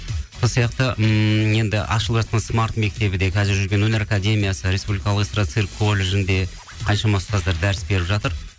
сол сияқты ммм енді ашылып жатқан смарт мектебі де қазір жүрген өнер академиясы республикалық эстарда цирк колледжінде қаншама ұстаздар дәріс беріп жатыр